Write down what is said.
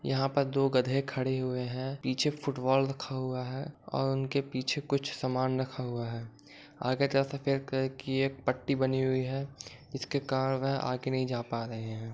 यहां पर दो गधे खड़े हुए हैं पीछे फुटबॉल रखा हुआ है और उनके पीछे कुछ सामान रखा हुआ है आगे तरफ से सफ़ेद कलर की एक पट्टी बनी हुई है जिसके कारण वह आगे नहीं जा पा रहे है।